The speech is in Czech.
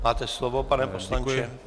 Máte slovo, pane poslanče.